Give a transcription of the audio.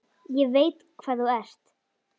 Ég veit hvað þú ert.